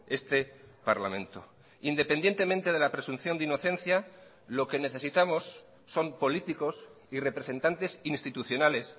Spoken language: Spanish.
este parlamento independientemente de la presunción de inocencia lo que necesitamos son políticos y representantes institucionales